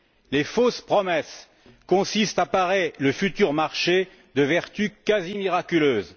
Les fausses promesses consistent à parer le futur marché de vertus quasi miraculeuses.